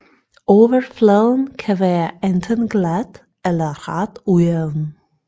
Overfladen kan være enten glat eller ret ujævn